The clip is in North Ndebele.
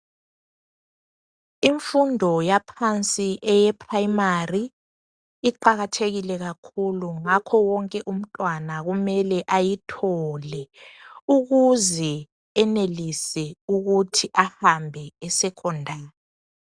Imfundo yaphansi eye primary, iqakathekile kakhulu, ngakho wonke umntwana kumele ayithole ukuze enelise ukuthi ahambe e secondary.